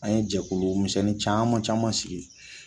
An ye jɛkulu misɛnnin caman caman sigi